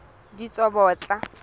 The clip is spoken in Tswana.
ditsobotla